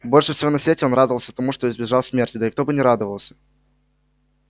больше всего на свете он радовался тому что избежал смерти да и кто бы не радовался